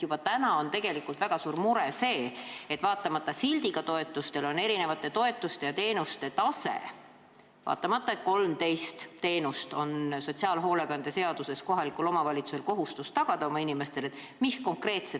Juba täna on toetuste ja teenuste tase väga suur mure, vaatamata sildiga toetustele, vaatamata sellele, et sotsiaalhoolekande seaduse järgi on kohalikul omavalitsusel kohustus tagada oma inimestele 13 teenust.